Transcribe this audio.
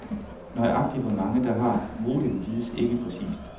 Nøjagtig hvor mange, der har modem, vides ikke præcist.